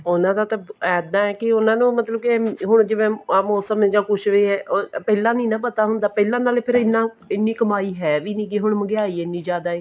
ਉਹਨਾ ਦਾ ਤਾਂ ਇੱਦਾਂ ਹੈ ਕੇ ਉਹਨਾ ਨੂੰ ਮਤਲਬ ਕੇ ਹੁਣ ਜਿਵੇਂ ਆ ਮੋਸਮ ਜਾਂ ਕੁੱਝ ਵੀ ਪਹਿਲਾਂ ਨੀ ਨਾ ਪਤਾ ਹੁੰਦਾ ਪਹਿਲਾਂ ਨਾਲੇ ਫ਼ੇਰ ਇੰਨਾ ਇੰਨੀ ਕਮਾਈ ਹੈ ਵੀ ਨਹੀਂ ਹੈਗੀ ਹੁਣ ਮਹਿੰਗਾਈ ਇੰਨੀ ਜ਼ਿਆਦਾ ਹੈ